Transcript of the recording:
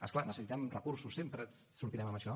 és clar necessitem recursos sempre sortirem amb això